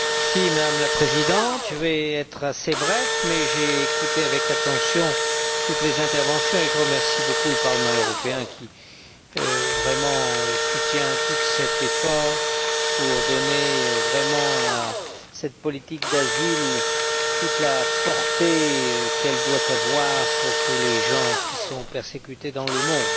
Madame la Présidente, je vais être assez bref, mais j'ai écouté avec attention toutes les interventions et je remercie beaucoup le Parlement européen qui, vraiment, soutient cet effort pour donner à la politique d'asile toute la portée qu'elle doit avoir pour tous les gens qui sont persécutés dans le monde.